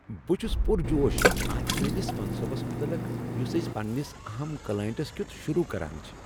بہٕ چھس پرجوش اتھ نٔوس منصوبس متعلق یس أسۍ پننس اہم کلائنٹس کیُت شروع کران چھ۔